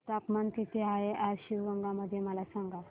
तापमान किती आहे आज शिवगंगा मध्ये मला सांगा